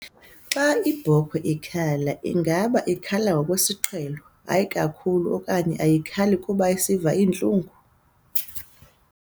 Xa iibhokhwe ikhala, ingaba ikhala ngokwesiqhelo, hayi kakhulu okanye ayikhali kuba isiva iintlungu?